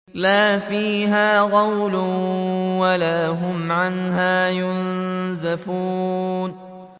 لَا فِيهَا غَوْلٌ وَلَا هُمْ عَنْهَا يُنزَفُونَ